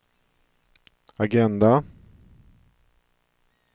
agenda